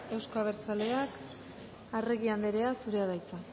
anderea euzko abertzaleak arregi anderea zurea da hitza